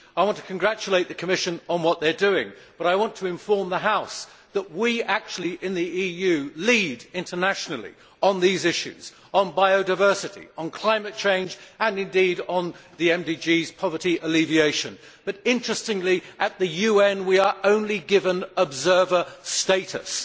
I want to congratulate the Commission on what they are doing, but I want to inform the House that we in the EU lead internationally on these issues on biodiversity, on climate change and, indeed, on the MDGs' poverty alleviation but, interestingly, at the UN, we are only given observer status.